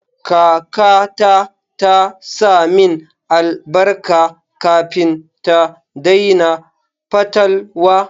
Kakata ta sa min albarka kafin ta daina fatalwa.